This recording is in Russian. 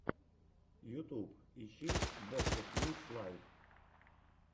ютуб ищи бобкэт линкс лайв